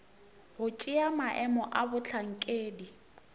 go tšea maemo a bohlankedi